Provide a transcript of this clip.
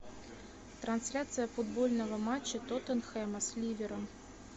трансляция футбольного матча тоттенхэма с ливером